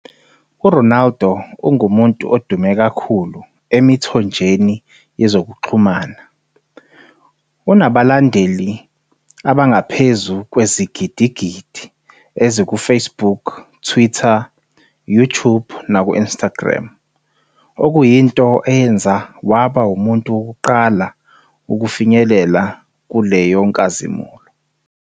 URonaldo ungumuntu odume kakhulu emithonjeni yezokuxhumana - unezilandeli ezingaphezu kwezigidigidi ezi-1 kuFacebook, Twitter, YouTube nakuInstagram, okuyinto eyenza waba umuntu wokuqala ukufinyelela kuleyo nkazimulo.